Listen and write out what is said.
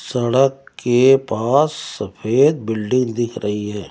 सड़क के पास सफेद बिल्डिंग दिख रही है।